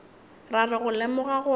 ra re go lemoga gore